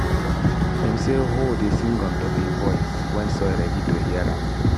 dem say hoe dey sing ontop e voice wen soil ready to hear am